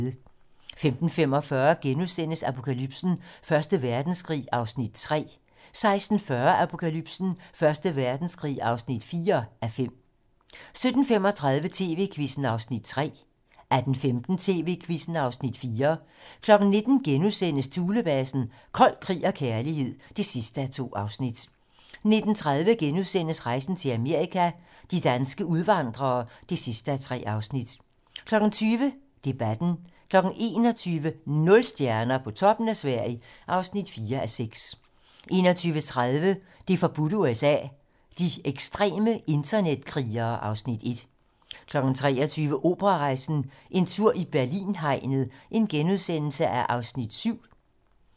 15:45: Apokalypsen: Første Verdenskrig (3:5)* 16:40: Apokalypsen: Første Verdenskrig (4:5) 17:35: TV-Quizzen (Afs. 3) 18:15: TV-Quizzen (Afs. 4) 19:00: Thulebasen - Kold krig og kærlighed (2:2)* 19:30: Rejsen til Amerika - de danske udvandrere (3:3)* 20:00: Debatten 21:00: Nul stjerner - på toppen af Sverige (4:6) 21:30: Det forbudte USA: De ekstreme internetkrigere (Afs. 1) 23:00: Operarejsen - En tur i Berlin-hegnet (7:8)*